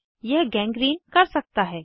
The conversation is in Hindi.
यह गैंग्रीन कर सकता है